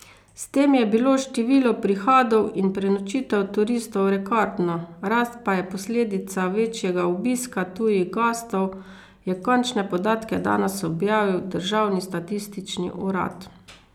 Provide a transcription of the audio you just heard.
S tem je bilo število prihodov in prenočitev turistov rekordno, rast pa je posledica večjega obiska tujih gostov, je končne podatke danes objavil državni statistični urad.